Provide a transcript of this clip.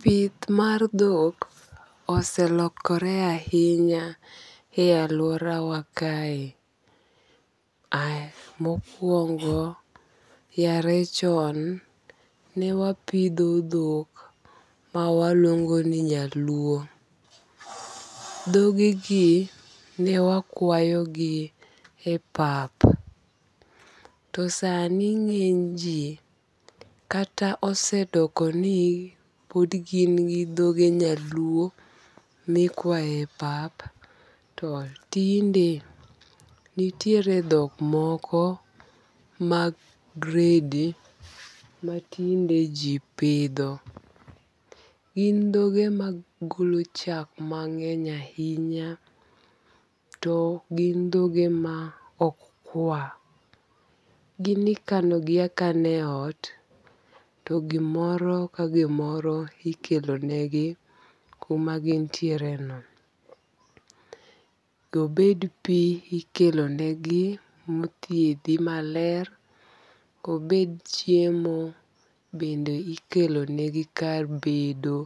Pith mar dhok oselokore ahinya e alworawa kae. Mokwongo, yare chon ne wapidho dhok mawaluongo ni nyaluo. Dhogegi ne wakwayogi e pap to sani ng'eny ji kata osedokoni pod gig gi dhoge nyaluo mikwaye pap to tinde nitiere dhok moko mag gredi matinde ji pidho. Gin dhoge magolo chak mang'eny ahinya to gin dhoge ma ok kwa. Gin ikanogi akana e ot to gimoro ka gimoro ikelonegi kumagintiereno. Obed pi ikelonegi mothiedhi maler, obed chiemo bende ikelonegi kar bedo,